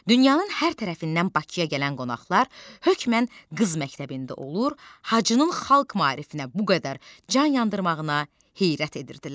Dünyanın hər tərəfindən Bakıya gələn qonaqlar hökmən qız məktəbində olur, Hacının xalq maarifinə bu qədər can yandırmağına heyrət edirdilər.